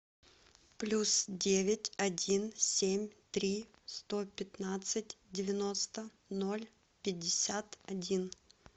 плюс девять один семь три сто пятнадцать девяносто ноль пятьдесят один